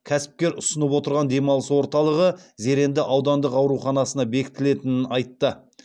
кәсіпкер ұсынып отырған демалыс орталығы зеренді аудандық ауруханасына бекітілетін айтты